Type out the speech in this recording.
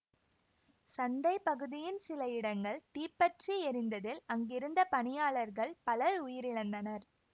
சந்தை பகுதியின் சில இடங்கள் தீப்ப்ற்றி எரிந்ததில் அங்கிருந்த பணியாளர்கள் பலர் உயிரிழந்தனர்